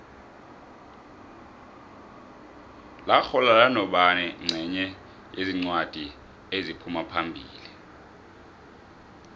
laxhwalala nobani nqenye yezincwadi eziphumaphambili